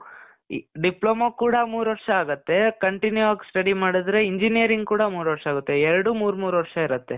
ಈ, ಡಿಪ್ಲೋಮಾ ಕೂಡ ಮೂರ್ ವರ್ಷ ಆಗತ್ತೆ. continue ಆಗಿ study ಮಾಡಿದ್ರೆ engineering ಕೂಡ ಮೂರ್ ವರ್ಷ ಆಗತ್ತೆ. ಎರಡೂ ಮೂರ್ ಮೂರ್ ವರ್ಷ ಇರತ್ತೆ.